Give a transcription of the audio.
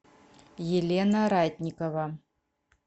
елена ратникова